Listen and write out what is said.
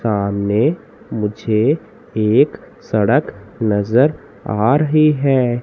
सामने मुझे एक सड़क नजर आ रही हैं।